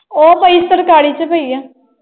ਉਹ ਪਈ ਚ ਪਈ ਆ।